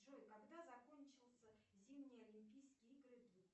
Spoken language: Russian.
джой когда закончился зимние олимпийские игры двух